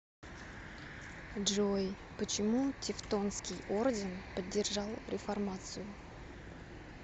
джой почему тевтонский орден поддержал реформацию